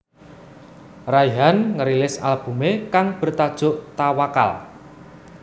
Raihan ngerilis albumé kang bertajuk Tawakkal